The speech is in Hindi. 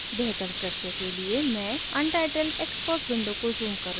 बेहतर दृश्य के लिए मैं untitled xcos विंडो को ज़ूम करुँगी